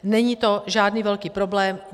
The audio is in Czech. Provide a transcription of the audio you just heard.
Není to žádný velký problém.